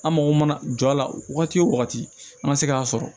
An mago mana jɔ a la wagati o wagati an ma se k'a sɔrɔ